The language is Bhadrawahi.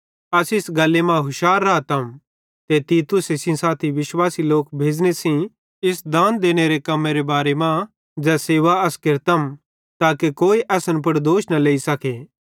अस इस गल्ली मां हुशार रातम ते तीतुसे सेइं साथी विश्वासी लोक भेज़ने सेइं इस दान देने बाले कम्मेरे बारे मां ज़ै सेवा अस केरतम ताके कोई असन पुड़ दोष न लेइ सखे